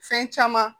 Fɛn caman